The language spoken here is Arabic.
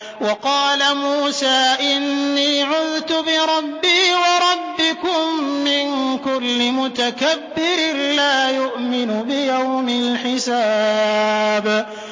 وَقَالَ مُوسَىٰ إِنِّي عُذْتُ بِرَبِّي وَرَبِّكُم مِّن كُلِّ مُتَكَبِّرٍ لَّا يُؤْمِنُ بِيَوْمِ الْحِسَابِ